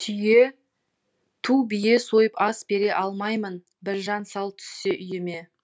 түйе ту бие сойып ас бере алмаймын біржан сал түссе үйіме